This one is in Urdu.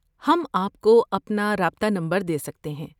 آپ ہم کو اپنا رابطہ نمبر دے سکتے ہیں۔